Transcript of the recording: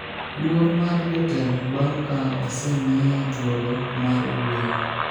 luor mar jotelo bang' ka osemiye thuolo mar wuoyo